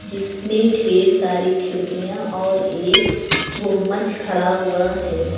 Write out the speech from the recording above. जिसमें ढ़ेर सारी खिड़कियां और एक गुंबज खड़ा हुआ है।